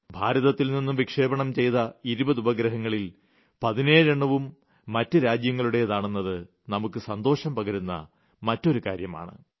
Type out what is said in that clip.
ഭാരതത്തിൽ നിന്നും വിക്ഷേപിച്ച 20 ഉപഗ്രഹങ്ങളിൽ 17 എണ്ണവും മറ്റ് രാജ്യങ്ങളുടേതാണെന്നത് നമുക്ക് സന്തോഷം പകരുന്ന മറ്റൊരു കാര്യമാണ്